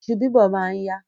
Iṣu bíbọ̀ ma ń yá.